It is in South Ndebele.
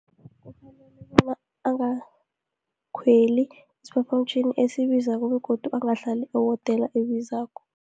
Ukubona angakhweli isiphaphamtjhini esibizako, begodu angahlali ehotela ebizako.